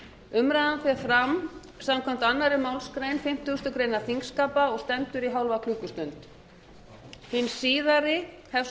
umræðan fer fram samkvæmt annarri málsgrein fimmtugustu grein þingskapa og stendur í hálfa klukkustund hin síðari hefst